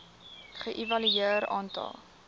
ge evalueer aantal